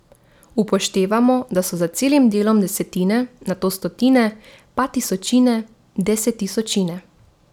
Upoštevamo, da so za celim delom desetine, nato stotine, pa tisočine, desettisočine...